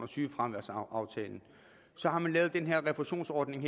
sygefraværsaftalen så har man lavet den her refusionsordning